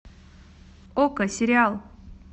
окко сериал